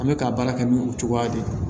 An bɛ ka baara kɛ ni o cogoya de ye